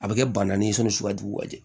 A bɛ kɛ banannen ye sɔnni sugu ka jugu ka di